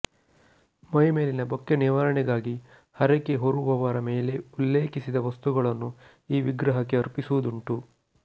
ಮೈಮೇಲಿನ ಬೊಕ್ಕೆ ನಿವಾರಣೆಗಾಗಿ ಹರಕೆ ಹೊರುವವರ ಮೇಲೆ ಉಲ್ಲೇಖಿಸಿದ ವಸ್ತುಗಳನ್ನು ಈ ವಿಗ್ರಹಕ್ಕೆ ಅರ್ಪಿಸುವುದುಂಟು